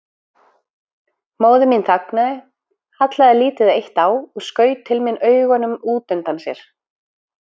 Móðir mín þagnaði, hallaði lítið eitt á og skaut til mín augunum út undan sér.